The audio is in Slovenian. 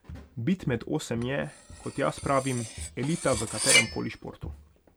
Bit med osem je, kot jaz pravim, elita v katerem koli športu.